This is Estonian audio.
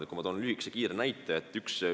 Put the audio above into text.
Ma toon kiiresti lühikese näite.